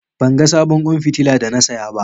Ban ga sabon kwan fitila da na saya ba